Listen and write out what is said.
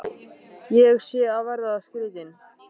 Ætli ég sé að verða skrýtin.